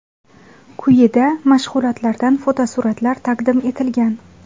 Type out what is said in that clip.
Quyida mashg‘ulotlardan fotosuratlar taqdim etilgan.